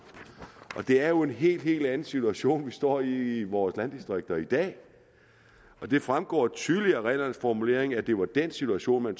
det er jo en helt helt anden situation vi står i i vores landdistrikter i dag og det fremgår tydeligt af reglernes formulering at det er den situation man